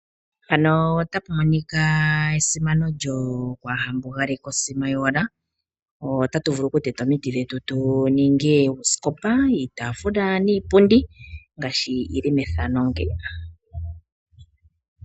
Oto vulu okwii landela uusikopa woye, ngoye wu vule oku tulamo iikutu yoye . Nenge iipundi, niitaafula yoye iiwaanawa.